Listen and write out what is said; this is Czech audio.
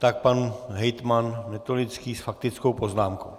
Tak pan hejtman Netolický s faktickou poznámkou.